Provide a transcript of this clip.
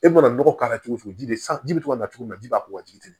E mana nɔgɔ k'a la cogo o cogo ji bɛ san ji bɛ to ka togo min na i b'a k'u ka jiginni ye